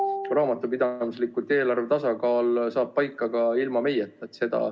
Raamatupidamislikult saab eelarve tasakaal paika ka ilma meieta.